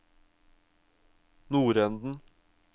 nordenden